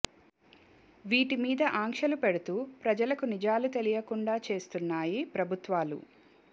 వీటి మీద ఆంక్షలు పెడుతూ ప్రజలకు నిజాలు తెలియనీయకుండా చేస్తున్నాయి ప్రభుత్వాలు